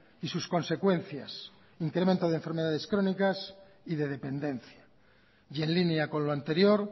y sus consecuencias incremento de enfermedades crónicas y de dependencia y en línea con lo anterior